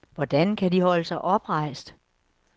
Hvordan kan de holde sig oprejst?